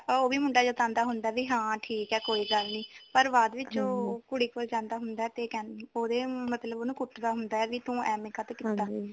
ਹਾਂ ਉਹ ਵੀ ਮੁੰਡਾ ਜਤਾਉਂਦਾ ਹੁੰਦਾ ਵੀ ਹਾਂ ਠੀਕ ਆ ਕੋਈ ਗੱਲ ਨੀ ਪਰ ਬਾਅਦ ਵਿੱਚ ਉਹ ਕੁੜੀ ਕੋਲ਼ ਜਾਂਦਾ ਹੁੰਦਾ ਤੇ ਕਿ ਉਹਦੇ ਮਤਲੱਬ ਉਹਨੂੰ ਕੁੱਟਦਾ ਹੁੰਦਾ ਵੀ ਤੂੰ ਐਵੇ ਕਾਤੋ ਕੀਤਾ